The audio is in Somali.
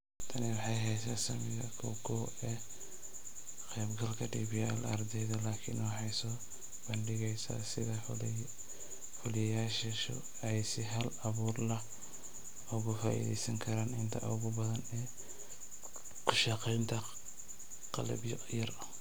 Tani waxay haysaa saamiga koow:koow ee ka qaybgalka DPL ee ardayda laakiin waxay soo bandhigaysaa sida fuliyayaashu ay si hal abuur leh uga faa'iidaysan karaan inta ugu badan ee ku shaqaynta qalabyo yar.